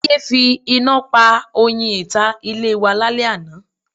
Táyé fi iná pa oyin ìta ilé wa lálẹ́ àná.